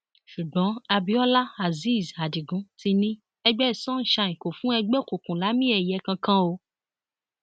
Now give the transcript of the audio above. ṣùgbọn abiola azeez adigun ti ní ẹgbẹ sunshine kò fún ẹgbẹ òkùnkùn lámìẹyẹ kankan o